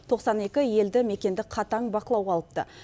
тоқсан екі елді мекенді қатаң бақылауға алыпты